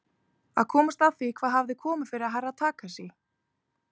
Að komast að því hvað hafði komið fyrir Herra Takashi.